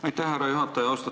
Aitäh, härra juhataja!